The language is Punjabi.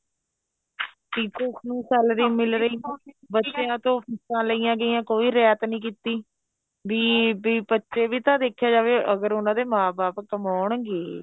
teachers ਨੂੰ salary ਮਿਲ ਰਹੀ ਬੱਚਿਆ ਤੋਂ ਫੀਸਾ ਲਈਆਂ ਗਈਆਂ ਕੋਈ ਰਹਿਤ ਨਹੀਂ ਕੀਤੀ ਬੀ ਬੀ ਬੱਚੇ ਵੀ ਤਾਂ ਦੇਖਿਆ ਜਾਵੇਂ ਅਗਰ ਉਹਨਾ ਦੇ ਮਾਂ ਬਾਪ ਕਮਾਉਂਣਗੇ